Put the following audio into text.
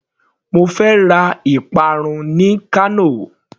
Mo fẹ́ ra ìparun ní Kano.